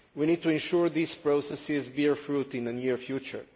We need to ensure that these processes bear fruit in the near future.